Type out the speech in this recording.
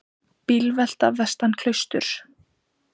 Bílvelta vestan við Klaustur